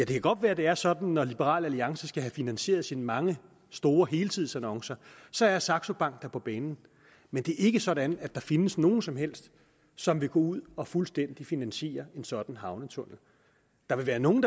kan godt være det er sådan når liberal alliance skal have finansieret sine mange store helsidesannoncer så er saxo bank der på banen men det er ikke sådan at der findes nogen som helst som vil gå ud og fuldstændig finansiere en sådan havnetunnel der vil være nogle